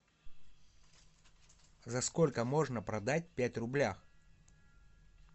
за сколько можно продать пять рублях